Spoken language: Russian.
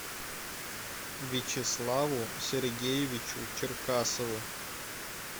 вячеславу сергеевичу черкасову